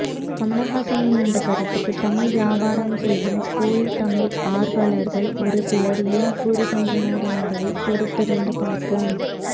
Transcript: கமல்ஹாசனின் இந்த கருத்துக்கு தமிழ் வியாபாரம் செய்யும் போலி தமிழ் ஆர்வலர்கள் ஒருசிலர் என்ன கூறுகின்றனர் என்பதை பொறுத்திருந்து பார்ப்போம்